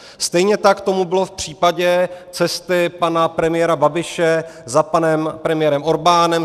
Stejně tak tomu bylo v případě cesty pana premiéra Babiše za panem premiérem Orbánem.